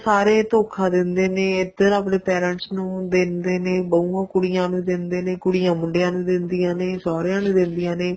ਸਾਰੇ ਧੋਖਾ ਦਿੰਦੇ ਨੇ ਇੱਧਰ ਆਪਣੇ parents ਨੂੰ ਦਿੰਦੇ ਨੇ ਬਹੂਆਂ ਕੁੜੀਆਂ ਨੂੰ ਦਿੰਦੇ ਨੇ ਕੁੜੀਆਂ ਮੁੰਡਿਆਂ ਨੂੰ ਦਿੰਦੀਆਂ ਨੇ ਸਹੁਰਿਆ ਨੂੰ ਦਿੰਦੀਆਂ ਨੇ